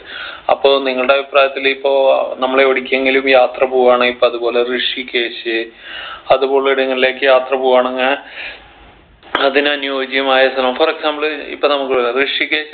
അപ്പൊ നിങ്ങളുടെ അഭിപ്രായത്തിൽ ഇപ്പോ നമ്മൾ എവിടേക്കെങ്കിലും യാത്രപോവാണെ ഇപ്പൊ അത്പോലെ ഋഷികേഷ്‌ അത്പോലെ ഇടങ്ങളിലേക്ക് യാത്ര പോവാണെങ് അതിന് അനിയോജ്യമായ ശ്രമം for example ഇപ്പൊ നമ്മക്കുള്ള ഋഷികേശ്